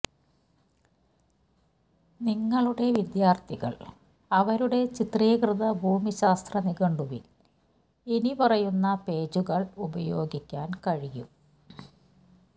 നിങ്ങളുടെ വിദ്യാർത്ഥികൾ അവരുടെ ചിത്രീകൃത ഭൂമിശാസ്ത്ര നിഘണ്ടുവിൽ ഇനിപ്പറയുന്ന പേജുകൾ ഉപയോഗിക്കാൻ കഴിയും